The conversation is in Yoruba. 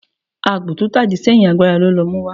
ágbò tọ tá ìdí seyín, àgbará lọ ló muwa.